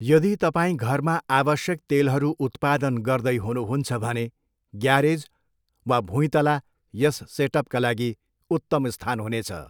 यदि तपाईँ घरमा आवश्यक तेलहरू उत्पादन गर्दै हुनुहुन्छ भने, ग्यारेज वा भुँइतला यस सेटअपका लागि उत्तम स्थान हुनेछ।